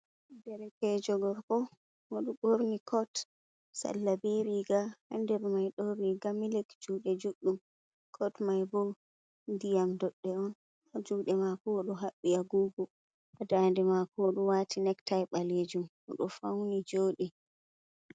Derkejo gorko odo borni cot salla be riga ha nder mai don riga milik jude judɗum cot mai bo diyam dodde on ha jude mako wodo habbi agogo dande mako odo wati nektai balejum odo fauni jodi.